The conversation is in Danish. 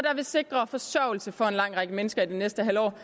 vil sikre forsørgelse for en lang række mennesker i det næste halve år